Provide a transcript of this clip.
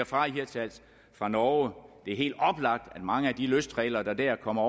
fra hirtshals fra norge det er helt oplagt at mange af de løstrailere der kommer